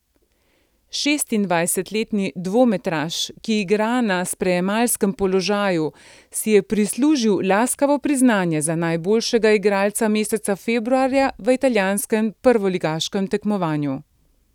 Šestindvajsetletni dvometraš, ki igra na sprejemalskem položaju, si je prislužil laskavo priznanje za najboljšega igralca meseca februarja v italijanskem prvoligaškem tekmovanju.